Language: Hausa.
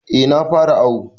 Eh na fara awu.